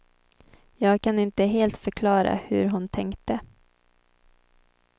Jag kan inte helt förklara hur hon tänkte.